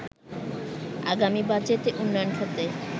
আগামী বাজেটে উন্নয়ন খাতে